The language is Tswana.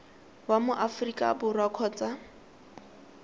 wa mo aforika borwa kgotsa